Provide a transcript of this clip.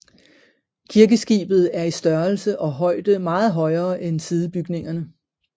Kirkeskibet er i størrelse og højde meget højere end sidebygningerne